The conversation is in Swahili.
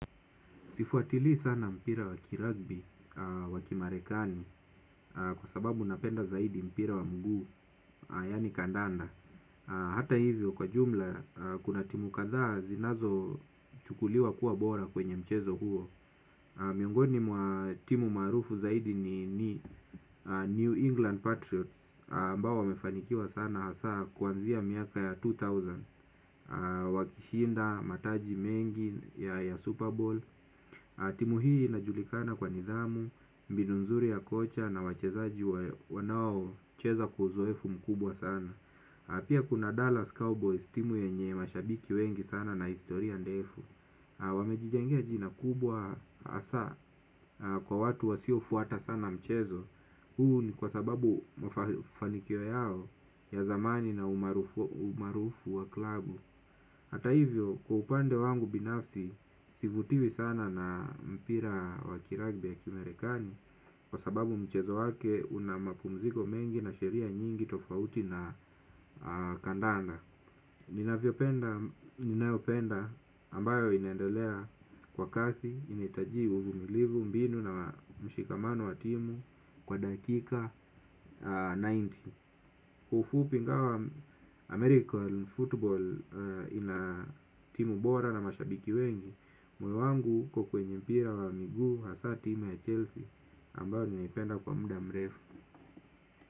Sifuatili sana mpira wa kiragbi wa kimarekani kwa sababu napenda zaidi mpira wa mguu yaani kandanda. Hata hivyo kwa jumla kuna timu kadhaa zinazo chukuliwa kuwa bora kwenye mchezo huo. Miongoni mwa timu marufu zaidi ni New England Patriots ambao wamefanikiwa sana hasa kuanzia miaka ya elfu mbili wakishinda mataji mengi ya Super Bowl. Timu hii inajulikana kwa nidhamu, mbinu nzuri ya kocha na wachezaji wanao cheza kwa uzoefu mkubwa sana na pia kuna Dallas Cowboys timu yenye mashabiki wengi sana na historia ndefu. Wamejijengea jina kubwa hasa kwa watu wasiofuata sana mchezo. Huu ni kwa sababu mafanikio yao ya zamani na umaarufu wa klabu. Hata hivyo kwa upande wangu binafsi sivutiwi sana na mpira wakiragbi ya kimerekani kwa sababu mchezo wake una mapumziko mengi na sheria nyingi tofauti na kandanda. Ninavyo penda ambayo inendelea kwa kasi inetaji uvu milivu mbinu na mshikamano wa timu kwa dakika tisini. Kwa ufupi ingawa American Football ina timu bora na mashabiki wengi. Moyo wangu uko kwenye mpira wa miguu hasa timu ya Chelsea Ambao ninaipenda kwa muda mrefu.